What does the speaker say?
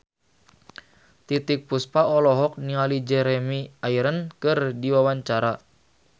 Titiek Puspa olohok ningali Jeremy Irons keur diwawancara